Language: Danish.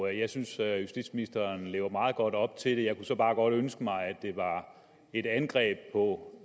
jeg synes at justitsministeren lever meget godt op til det jeg kunne så bare godt ønske mig at det var et angreb på